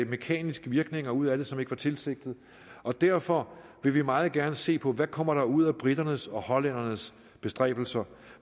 mekaniske virkninger ud af det som ikke var tilsigtet og derfor vil vi meget gerne se på hvad der kommer ud af briternes og hollændernes bestræbelser